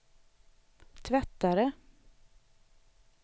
tvättare